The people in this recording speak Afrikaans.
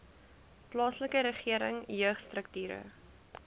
plaaslike regering jeugstrukture